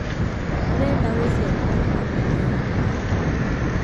ndĩreda gũcerera bamĩrĩ yakwa